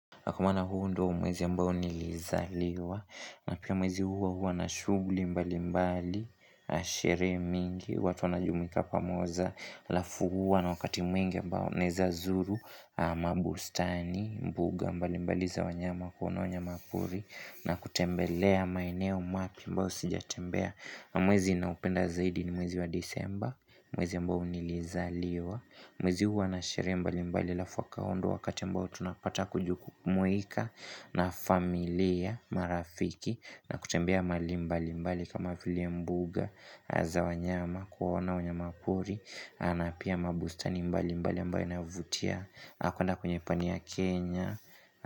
Kwa maana huu ndiyo mwezi ambao nilizaliwa na pia mwezi huu huwa nashuguli mbali mbali sherehe mingi watu wanajumuika pamoja halafu huwa na wakati mwingi ambao ninawezazulu amabustani, mbuga mbali mbali za wanyama kuona wanyama pori na kutembelea maeneo mapya ambayo sijatembea Mwezi niinaupenda zaidi ni mwezi wa disemba Mwezi ambao nilizaliwa Mwezi huu huwa nasherehe mbalimbali halafu ndiyo Wakati ambao tunapata kujukumuika na familia marafiki na kutembea mahali mbali mbali kama vile mbuga za wanyama kuona wanyama pori napia mabustani mbali mbali mbao inavutia na kwenda kwenye pani ya Kenya.